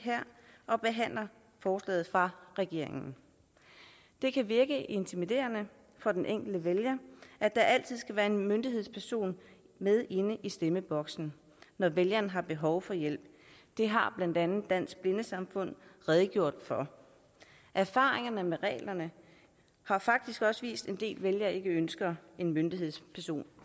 og behandler forslaget fra regeringen det kan virke intimiderende for den enkelte vælger at der altid skal være en myndighedsperson med inde i stemmeboksen når vælgeren har behov for hjælp det har blandt andet dansk blindesamfund redegjort for erfaringerne med reglerne har faktisk også vist at en del vælgere ikke ønsker en myndighedsperson